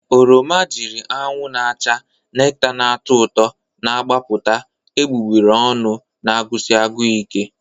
Oroma jiri anwụ na-acha, nekta na-atọ ụtọ na-agbapụta egbugbere ọnụ na-agụsi agụụ ike.